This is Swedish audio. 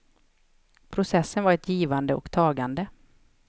Processen var ett givande och tagande.